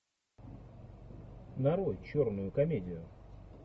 нарой черную комедию